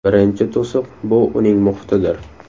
Birinchi to‘siq bu uning muhitidir.